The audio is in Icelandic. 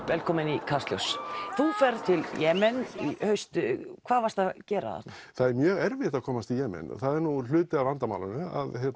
velkomin í Kastljós þú ferð til Jemen í haust hvað varstu að gera þarna það er mjög erfitt að komast til Jemen og það var nú hluti af vandamálinu